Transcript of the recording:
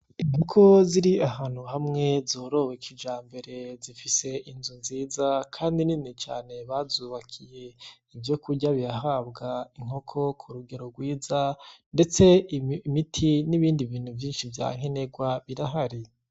Inkoko ziri ahantu hamwe zorowe kijambere zifise inzu nziza kandi nini cane bazubakiye, ivyokurya birahabwa inkoko ku rugero rwiza ndetse ibiti nibindi bintu vyinshi vya nkenerwa birahari.